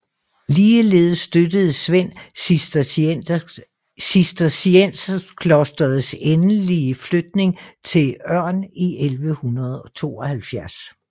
Ligeledes støttede Svend cistercienserklosterets endelige flytning til Øm i 1172